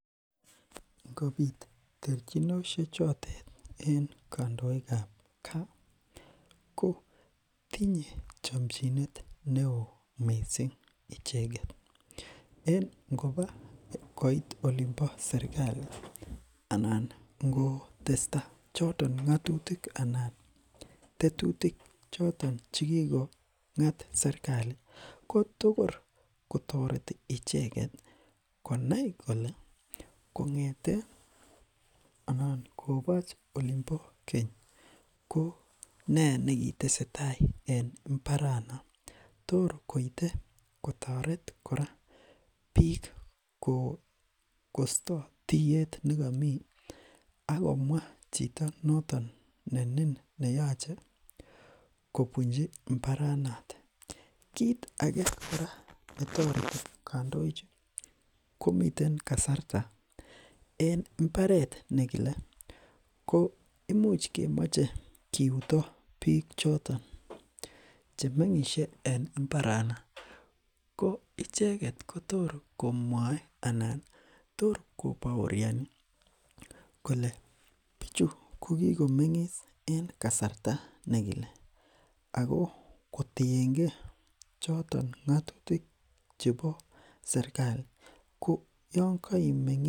ngobit terchinoshe chotet en kandoikab kaa kotinye chomchinet neeo mising icheket en ngopa koit olimpo serkali anan ngotesta choton ngotutik anan tetutik choton chekikongat serkali kotokor kotoreti icheket konai kole kongeten anan koboch olimbo keny konee nekitesetaai en mbaranon tor koite kotoret kora biik kosto tiyet nekomii akomwa chito noton nenin neyoche kobunchi mbaranotet kit ake kora netoreti kandoichu komiten kasarta en mbaret nekile imuch kemoche kiuto biik choton chemengishe en mbaranok ko icheket kotor komwoe anan tor koboorini kole bichu kokikomengis en kasarta nekile ako kotiengee choton ngotutik chebo serkali koyon keimengi